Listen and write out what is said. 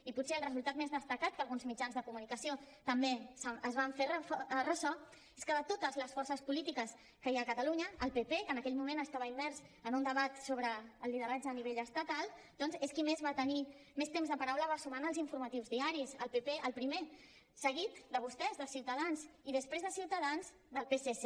i potser el resultat més destacat del qual alguns mitjans de comunicació també es van fer ressò és que de totes les forces polítiques que hi ha a catalunya el pp que en aquell moment estava immers en un debat sobre el lideratge a nivell estatal doncs és qui més temps de paraula va sumar en els informatius diaris el pp el primer seguit de vostès de ciutadans i després de ciutadans del psc